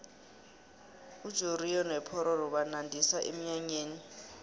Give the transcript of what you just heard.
ujoriyo nopororo banandisa emnyanyeni